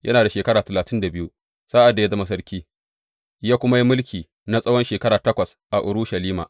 Yana da shekara talatin da biyu sa’ad da ya zama sarki, ya kuma yi mulki na tsawon shekara takwas a Urushalima.